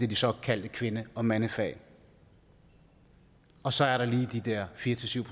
de såkaldte kvinde og mandefag og så er der lige de der fire syv